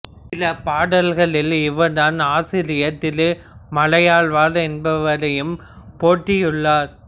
சில பாடல்களில் இவர் தன் ஆசிரியர் திருமலையாழ்வார் என்பவரையும் போற்றியுள்ளார்